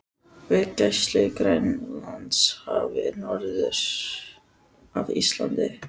við gæslu í Grænlandshafi norður af Íslandi.